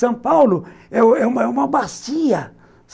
São Paulo é é uma bacia.